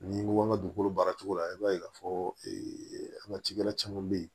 Ni ko an ka dugukolo baara cogo la i b'a ye k'a fɔ ee an ga cikɛla caman be yen